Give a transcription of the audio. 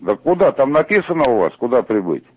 да куда там написано у вас куда прибыть